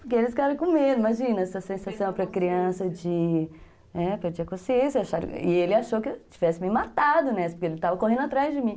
Porque eles ficaram com medo, imagina, essa sensação para criança de, é, perder a consciência, e ele achou que eu tivesse me matado, né, porque ele estava correndo atrás de mim.